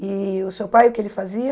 E o seu pai, o que ele fazia?